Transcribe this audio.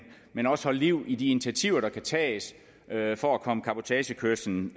men også holde liv i de initiativer der kan tages for at komme cabotagekørslen